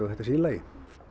þetta sé í lagi